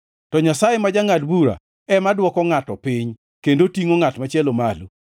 To Nyasaye ma jangʼad bura ema dwoko ngʼato piny, kendo tingʼo ngʼat machielo malo.